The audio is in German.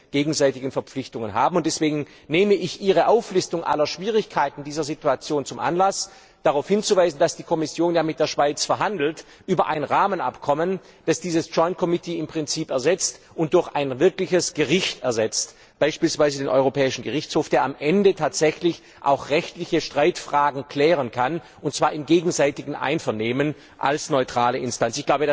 gegenseitigen rechtlichen Verpflichtungen haben. Deswegen nehme ich Ihre Auflistung aller Schwierigkeiten dieser Situation zum Anlass, darauf hinzuweisen, dass die Kommission ja mit der Schweiz über ein Rahmenabkommen verhandelt, das diesen Gemischten Parlamentarischen Ausschuss im Prinzip durch ein wirkliches Gericht ersetzt, beispielsweise den Europäischen Gerichtshof, der am Ende tatsächlich auch rechtliche Streitfragen klären kann, und zwar im gegenseitigen Einvernehmen als neutrale Instanz.